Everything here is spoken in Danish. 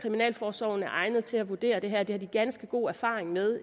kriminalforsorgen er egnet til at vurdere det her for det har de ganske god erfaring med